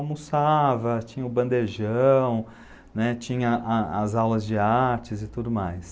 Almoçava, tinha o bandejão, tinha as aulas de artes e tudo mais.